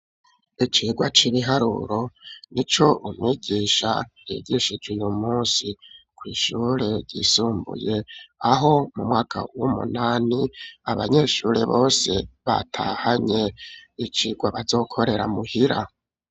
Icirwa c'ibiharuro nico umwigisha yigishije uyu munsi ku ishure yisumbuye aho mu mwaka w'umunani abanyeshuri bose batahanye ikigwa bazokorera muhira.